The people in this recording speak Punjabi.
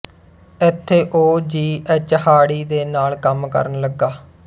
ਇੱਥੇ ਉਹ ਜੀ ਐੱਚ ਹਾਰਡੀ ਦੇ ਨਾਲ ਕੰਮ ਕਰਨ ਲੱਗਾ